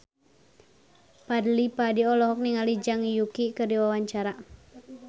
Fadly Padi olohok ningali Zhang Yuqi keur diwawancara